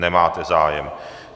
Nemáte zájem.